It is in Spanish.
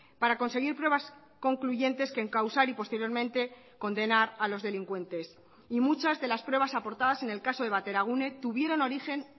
para conseguir pruebas concluyentes que encausar y posteriormente condenar a los delincuentes y muchas de las pruebas aportadas en el caso de bateragune tuvieron origen